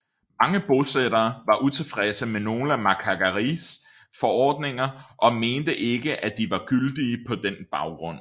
Mange bosættere var utilfredse med nogle af Macquaries forordninger og mente ikke at de var gyldige på den baggrund